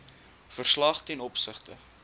verslag ten opsigte